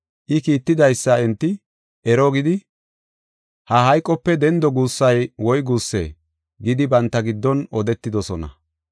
I kiittidaysa enti, “Ero” gidi, “Ha hayqope dendo guussay woyguuse” gidi, banta giddon odetidosona.